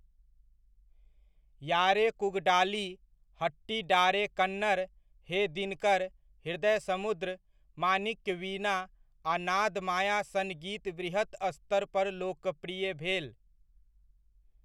यारे कूगडाली, हट्टीडारे कन्नड़, हे दिनकर, हृदय समुद्र, माणिक्यवीणा आ नादमाया सन गीत वृहत स्तर पर लोकप्रिय भेल।